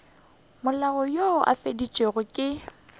molao wo o fetišitšwego ke